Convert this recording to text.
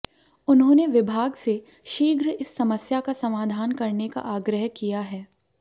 उन्होंने विभाग से शीघ्र इस समस्या का समाधान करने का आग्रह किया है